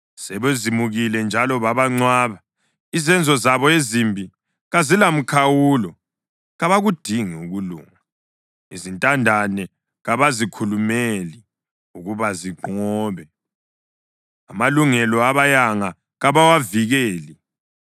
sebezimukile njalo babancwaba. Izenzo zabo ezimbi kazilamkhawulo, kabakudingi ukulunga. Izintandane kabazikhulumeli ukuba zinqobe, amalungelo abayanga kabawavikeli.